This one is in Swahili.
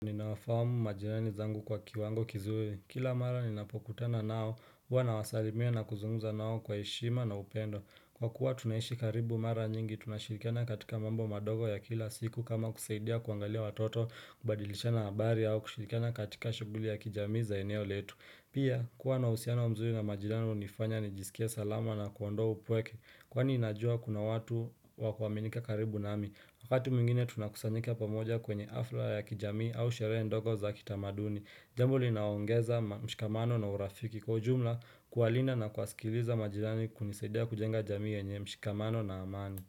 Ninawafahamu majirani zangu kwa kiwango kizuri. Kila mara ninapokutana nao, huwa nawasalimia na kuzunguza nao kwa heshima na upendo. Kwa kuwa tunaishi karibu mara nyingi, tunashirikana katika mambo madogo ya kila siku kama kusaidia kuangalia watoto kubadilisha na habari au kushirikana katika shughuli ya kijamii za eneo letu. Pia, kuwa na uhusiano wa mzuri na majirani hunifanya nijisikie salama na kuondoa upweke, kwani ninajua kuna watu wa kuaminika karibu nami. Wakati mwingine tunakusanyika pamoja kwenye hafla ya kijamii au sherehe ndogo za kitamaduni. Jambo linaongeza mshikamano na urafiki kwa ujumla kuwalinda na kuwasikiliza majirani kunisaidia kujenga jamii yenye mshikamano na amani.